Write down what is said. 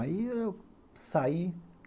Aí eu saí.